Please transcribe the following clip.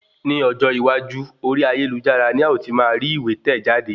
Ni ọjọ́ iwájú, orí ayélujára ní a o ti máa rí ìwé tẹ̀ jáde